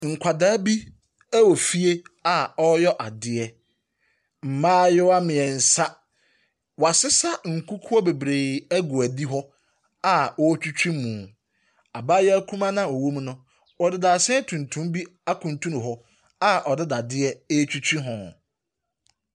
Nkwadaa bi wɔ fie a ɔreyɛ adeɛ. Mmaayewɛ mmiɛnsa; wɔasesa nkukuo bebree agu adi hɔ a wɔretwitwi mu. Abaayea kumaa no a ɔwɔ mu no, ɔde dadesɛn tuntum bi akutunu hɔ a ɔde dadesɛn bi retwitwi ho.